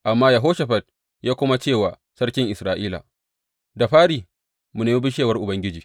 Amma Yehoshafat ya kuma ce wa sarkin Isra’ila, Da fari mu nemi bishewar Ubangiji.